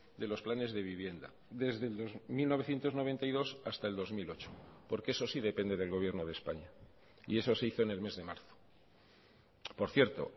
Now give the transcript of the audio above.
de los planes de vivienda desde mil novecientos noventa y dos hasta el dos mil ocho porque eso sí depende del gobierno de españa y eso se hizo en el mes de marzo por cierto